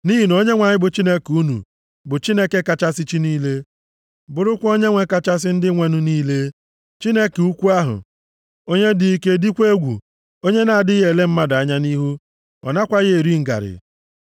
Nʼihi na Onyenwe anyị, bụ Chineke unu bụ Chineke kachasị chi niile, bụrụkwa Onyenwe kachasị ndị nwenụ niile. Chineke ukwu ahụ, onye dị ike dịkwa egwu, onye na-adịghị ele mmadụ anya nʼihu, ọ nakwaghị eri ngarị.